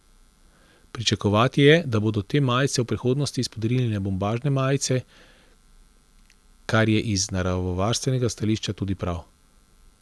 Pričakovati je, da bodo te majice v prihodnosti izpodrinile bombažne majice, kar je iz naravovarstvenega stališča tudi prav.